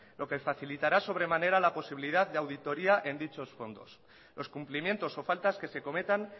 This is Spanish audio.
lo que facilitará sobremanera la posibilidad de auditoria en dichos fondos los cumplimientos o faltas que se cometan